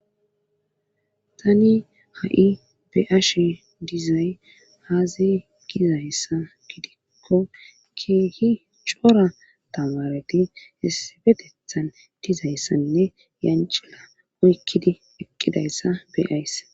tani ha7i be7ashi dizay aaze gizayssa gidikko keehi cora tamareti issipetethan dizayssanne yancila oykkidi eqqidayssa be7ays